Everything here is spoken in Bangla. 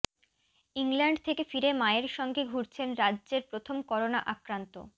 ইংল্যান্ড থেকে ফিরে মায়ের সঙ্গে ঘুরেছেন রাজ্যের প্রথম করোনা আক্রান্ত